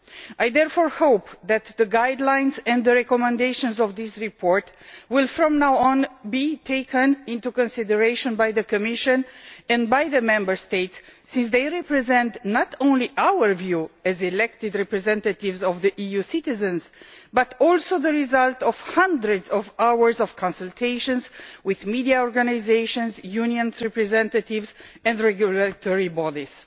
I therefore hope that the guidelines and recommendations of this report will, from now on, be taken into consideration by the Commission and by the Member States, since they represent not only our view as elected representatives of EU citizens but also the result of hundreds of hours of consultations with media organisations, union representatives and regulatory bodies.